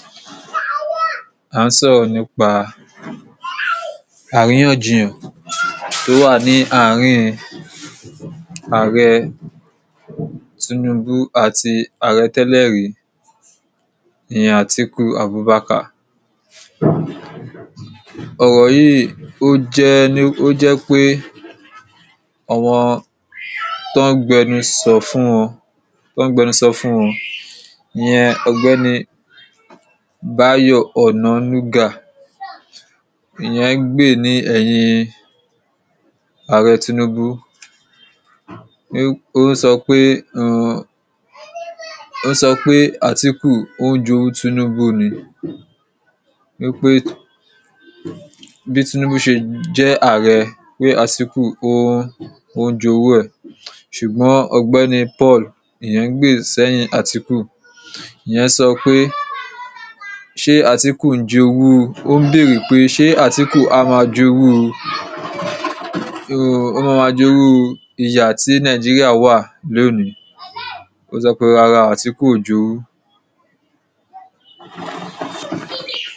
à ń sọ̀rọ̀ nípa àríyànjiyàn tó wà ní áàrín Ààrẹ Tinubu àti Ààrẹ tẹ́lẹ̀rí ìyẹn Atiku Abubakar. ọ̀rọ̀ yìí ó jẹ́ ni o je wípé àwọn tí wọ́n ń gbẹnusọ fún wọn, tọ́ ń gbẹnusọ fún wọn ìyẹn ọ̀gbẹ́ni Báyọ̀ ọnànúgà, ìyẹn ń gbè ni ẹ̀yin Ààrẹ Tinubu ó sọ pé um ó sọ pé Atiku ó ń jowú Tinubu ni wípé bí Tinubu ṣe jẹ́ Ààrẹ, pé Atiku ń jowú ẹ̀ ṣùgbọ́n ọ̀gbẹ́ni Paul, ìyẹn ń gbè sí ẹ̀yin Atiku ìyẹn sọ pé, se Atiku jowu ó ń bèèrè pé ṣé Atiku a máa jowú, o maa ma jowu iru ìyà tí Nàìjíríà wà lónìí ó sọ pé rárá Atiku ò jowú